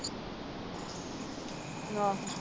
ਆਹ